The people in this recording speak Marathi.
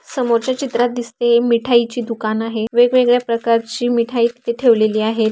समोरच्या चित्रात दिसते मिठाई ची दुकान आहे. वेगवेगळ्या प्रकारची मिठाई तिथे ठेवलीली आहे.